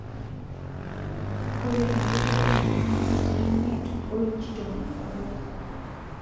Ore endoropo enye naa futii imiet o inchi tomo obo.